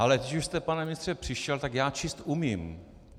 Ale když už jste, pane ministře, přišel, tak já číst umím.